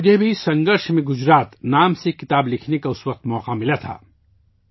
مجھے بھی 'سنگھرش میں گجرات ' نامی ایک کتاب لکھنے کا اس وقت موقع ملا تھا